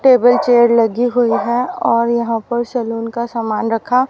table chair लगी हुई है और यहां पर सैलून का सामान रखा--